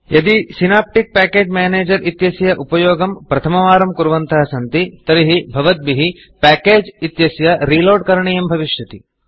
यदि भवन्तः synaptic package Managerसिनाप्टिक् पेकेज् मेनेजर् इत्यस्य उपयोगं प्रथमवारं कुर्वन्तः सन्ति तर्हि भवद्भिः Packagesपेकेजस् इत्यस्य Reloadरीलोड् करणीयं भविष्यति